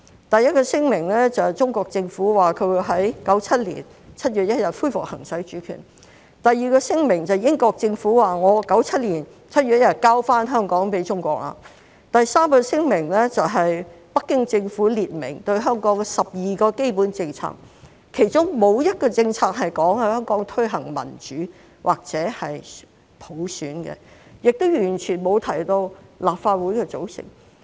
第一個聲明，中國政府說會在1997年7月1日恢復行使主權；第二個聲明是英國政府說在1997年7月1日把香港交回中國；第三個聲明是北京政府列明對香港12項基本政策，其中沒有一個政策說會在香港推行民主或普選，亦完全沒有提到立法會的組成。